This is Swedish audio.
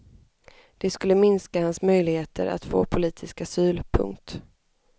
Det skulle minska hans möjligheter att få politisk asyl. punkt